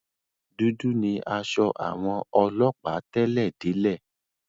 Dúdú ni aṣọ àwọn ọlọ́ọ̀pá tẹ́lẹ̀ délẹ̀